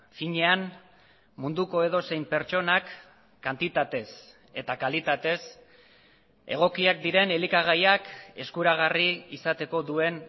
finean munduko edozein pertsonak kantitatez eta kalitatez egokiak diren elikagaiak eskuragarri izateko duen